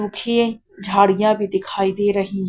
उखिये झाड़ियां भी दिखाई दे रहीं--